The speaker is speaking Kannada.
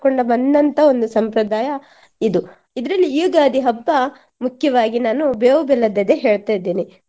ಮಾಡ್ಕೊಂಡು ಬಂದಂತಹ ಒಂದು ಸಂಪ್ರದಾಯ ಇದು. ಇದ್ರಲ್ಲಿ ಈ ಯುಗಾದಿ ಹಬ್ಬ ಮುಖ್ಯವಾಗಿ ನಾನು ಬೇವು ಬೆಲ್ಲದದ್ದೇ ಹೇಳ್ತಾ ಇದ್ದೇನೆ.